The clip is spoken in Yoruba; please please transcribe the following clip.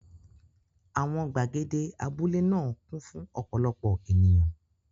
Àwọn gbàgede abúlé náà kún fún ọ̀pọ̀lọpọ̀ ènìyàn.